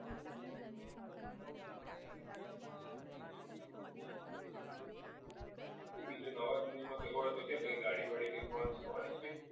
શું બીજું નવાજૂની માં કંઈ હોય તો કે કઈ ગાડી launch થવાની જ કઈ